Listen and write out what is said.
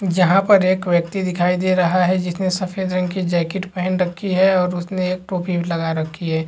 यहाँ पर एक व्यक्ति दिखाई दे रहा है जिसने जैकेट पहन रखी है और उसने एक टोपी भी लगा रखी है।